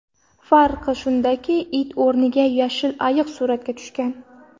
Farq shundaki, it o‘rniga yashil ayiq suratga tushgan.